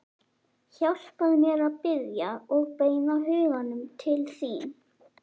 Hjálpaðu mér að biðja og beina huganum til þín.